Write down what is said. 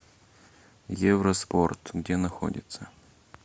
евроспорт где находится